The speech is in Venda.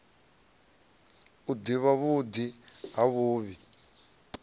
u ḓivha vhuḓi na vhuvhi